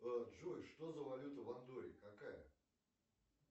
джой что за валюта в андорре какая